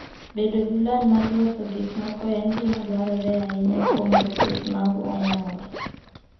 Bedo gi lony mar loso gik moko en gima dwarore ahinya kuom jopith mag ong'or.